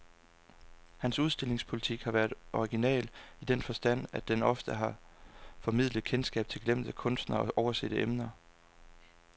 Hans udstillingspolitik har været original, i den forstand at den ofte har formidlet kendskab til glemte kunstnere og oversete emner.